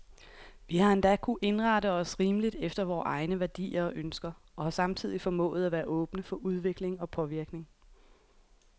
Vi har endda kunnet indrette os rimeligt efter vore egne værdier og ønsker, og har samtidig formået at være åbne for udvikling og påvirkning.